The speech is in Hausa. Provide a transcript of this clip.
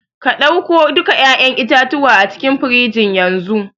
ka dauku duka 'ya'yan itatuwa acikin firigin yanzu.